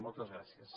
moltes gràcies